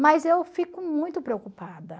Mas eu fico muito preocupada.